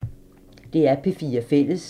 DR P4 Fælles